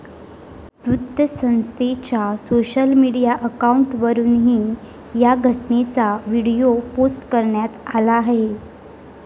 वृत्तसंस्थेच्या social media अकाऊंटवरुनही या घटनेचा व्हिडीओ पोस्ट करण्यात आला आहे.